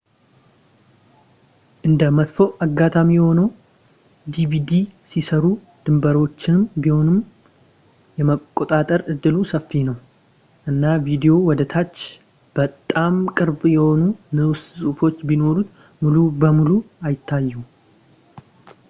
እንደ መጥፎ አጋጣሚ ሆኖ፣ ዲቪዲ ሲሰሩ ድንበሮቹንም ቢሆን የመቆረጥ እድሉ ሰፊ ነው ፣ እና ቪዲዮው ወደ ታች በጣም ቅርብ የሆኑ ንዑስ ጽሑፎች ቢኖሩት ሙሉ በሙሉ አይታዩም